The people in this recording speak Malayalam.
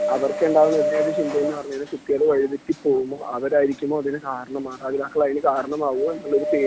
അവർക്കുണ്ടാകുന്ന ഒരേ ഒരു ചിന്ത എന്ന് പറഞ്ഞാൽ കുട്ടികള് വഴി തെറ്റി പോകുമോ അവരായിരിക്കുമോ അതിനു കാരണം മാതാപിതാക്കൾ അതിനു കാരണമാവുമോ എന്നുള്ള പേടിയാണ്